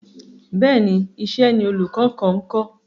Bẹ́ẹ̀ni, iṣẹ́ ni olùkọ kan ńkọ́.